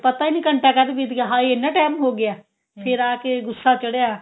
ਫ਼ਿਰ ਪਤਾ ਈ ਨੀ ਘੰਟਾ ਕਦ ਬੀਤ ਗਿਆ ਹਾਏ ਇੰਨਾ time ਹੋ ਗਿਆ ਫਿਰ ਆ ਕੇ ਗੁੱਸਾ ਚੜਿਆ